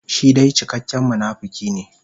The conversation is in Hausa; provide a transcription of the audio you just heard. Shi dai cikakken munafuki ne.